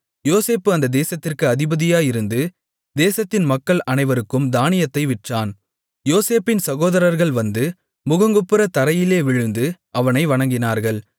யோசேப்பு அந்த தேசத்திற்கு அதிபதியாயிருந்து தேசத்தின் மக்கள் அனைவருக்கும் தானியத்தை விற்றான் யோசேப்பின் சகோதரர்கள் வந்து முகங்குப்புறத் தரையிலே விழுந்து அவனை வணங்கினார்கள்